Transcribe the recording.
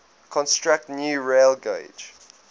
construct new railgauge